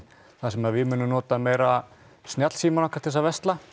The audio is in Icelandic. þar sem að við munum nota meira snjallsímana okkar til að versla